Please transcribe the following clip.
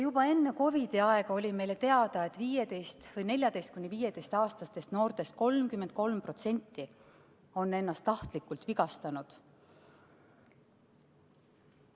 Juba enne COVID-i aega oli meile teada, et 15- või 14–15‑aastastest noortest 33% on ennast tahtlikult vigastanud.